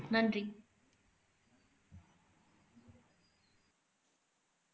நன்றி